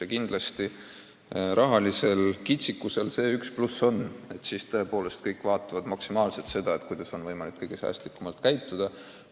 Ja kindlasti on rahalisel kitsikusel üks pluss: tõepoolest kõik mõtlevad, kuidas seda maksimaalselt kasutada, kuidas on võimalik kõige säästlikumalt tegutseda.